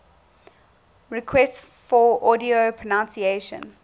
requests for audio pronunciation